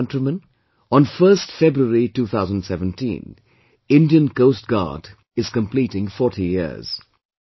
My dear countrymen, on 1st February 2017, Indian Coast Guard is completing 40 years